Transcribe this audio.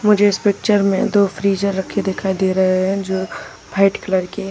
मुझे इस पिक्चर में दो फ्रिज़र रखें दिखाई दे रहे हैं जो व्हाइट कलर के--